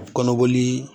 Kɔnɔboli